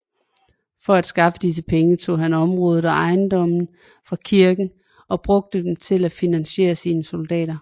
For at skaffe disse penge tog han områder og ejendomme fra kirken og brugte dem til at finansiere sine soldater